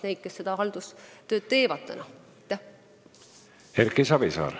Erki Savisaar.